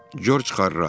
Corc Xarrat.